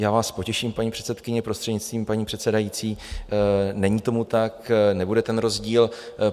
Já vás potěším, paní předsedkyně, prostřednictvím paní předsedající, není tomu tak, nebude ten rozdíl.